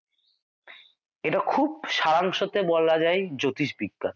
এটা খুব সারাংশ তে বলা যায় জ্যোতিষবিদ্যা